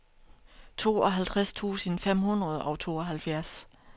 tooghalvtreds tusind fem hundrede og tooghalvfjerds